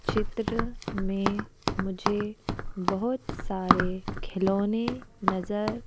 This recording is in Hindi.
चित्र में मुझे बहुत सारे खिलौने नजर--